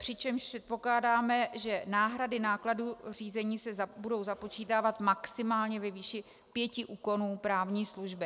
Přičemž předpokládáme, že náhrady nákladů řízení se budou započítávat maximálně ve výši pěti úkonů právní služby.